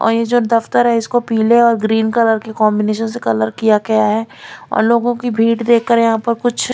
और ये जो दफ्तर है इसको पीले और ग्रीन कलर के कॉम्बिनेशन से कलर किया गया है और लोगों की भीड़ देखकर यहाँ पर कुछ--